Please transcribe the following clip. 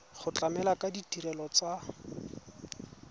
go tlamela ka ditirelo tsa